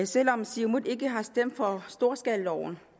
selv om siumut ikke har stemt for storskalaloven